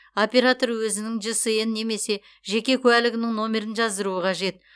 оператор өзінің жсн немесе жеке куәлігінің нөмірін жаздыруы қажет